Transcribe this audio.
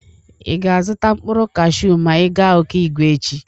Ị ga-azụta mkpụrụ kashu ma ị ga Ọkịgwe echi?